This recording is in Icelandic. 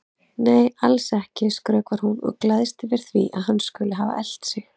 Nei, alls ekki, skrökvar hún og gleðst yfir því að hann skuli hafa elt sig.